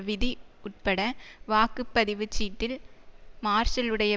விதி உட்பட வாக்கு பதிவு சீட்டில் மார்ஷலுடைய